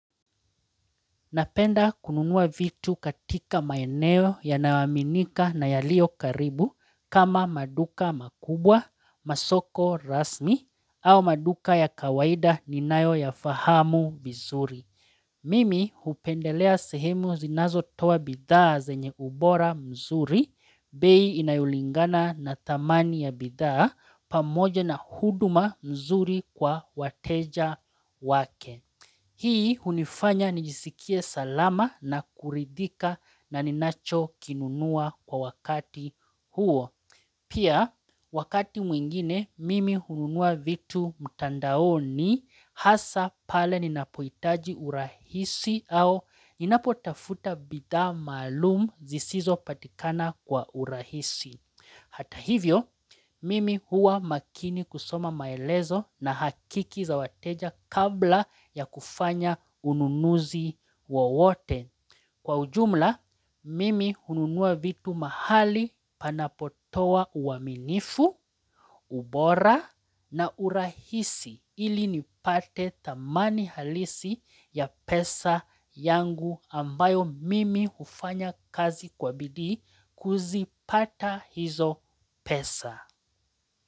Napenda kununua vitu katika maeneo yanayoaminika na yalio karibu kama maduka makubwa, masoko rasmi au maduka ya kawaida ninayoyafahamu vizuri. Mimi upendelea sehemu zinazotoa bidhaa zenye ubora mzuri, bei inayolingana na dhamani ya bidhaa pamoja na huduma nzuri kwa wateja wake. Hii hunifanya nijiskie salama na kuridhika na ninachokinunua kwa wakati huo. Pia wakati mwingine mimi hununua vitu mtandaoni hasa pale ninapohitaji urahisi au ninapotafuta bidha maalum zisizo patikana kwa urahisi. Hata hivyo, mimi huwa makini kusoma maelezo na hakiki za wateja kabla ya kufanya ununuzi wowote. Kwa ujumla, mimi ununua vitu mahali panapotoa uaminifu, ubora na urahisi ili nipate dhamani halisi ya pesa yangu ambayo mimi hufanya kazi kwa bidii kuzipata hizo pesa.